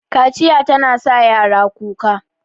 Kaciya tana sa yara kuka